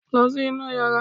Lọ sí inú yàrá!